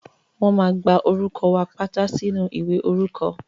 Wọ́n máa gba orúkọ wa pátá sínú ìwé orúkọ.